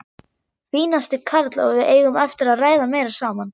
Fínasti karl og við eigum eftir að ræða meira saman.